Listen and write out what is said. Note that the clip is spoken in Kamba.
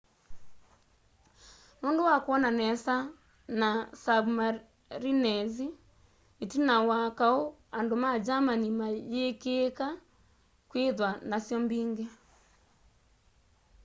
nundu wa kwona nesa na submarinezi itina wa kaũ andu ma germani mayiikika kwithiwa nasyo mbingi